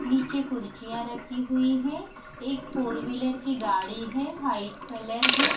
निचे कुर्सिया रखी हुई है एक फोर विलर कि गाड़ी है वाईट कलर है।